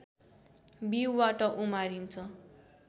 बीउबाट उमारिन्छ